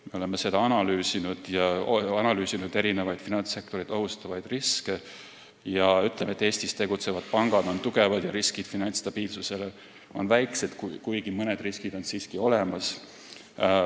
Me oleme seda analüüsinud, erinevaid finantssektoreid ohustavaid riske, ja ütleme, et Eestis tegutsevad pangad on tugevad ja riskid finantsstabiilsusele on väiksed, kuigi mõned riskid on siiski olemas.